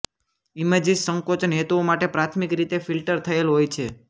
images સંકોચન હેતુઓ માટે પ્રાથમિક રીતે ફિલ્ટર થયેલ હોય છે